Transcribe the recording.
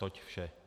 Toť vše.